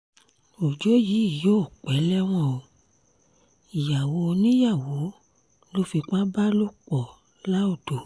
ọjọ́ yìí yóò pẹ́ lẹ́wọ̀n o ìyàwó oníyàwó ló fipá bá lò pọ̀ laodò